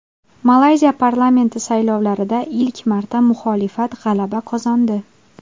Malayziya parlamenti saylovlarida ilk marta muxolifat g‘alaba qozondi.